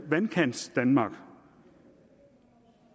vandkantsdanmark